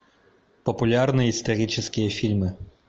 популярные исторические фильмы